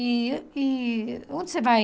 E e onde você vai?